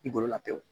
I bolo la pewu